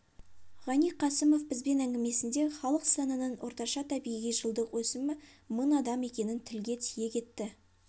ғани қасымов бізбен әңгімесінде халық санының орташа табиғи жылдық өсімі мың адам екенін тілге тиек етті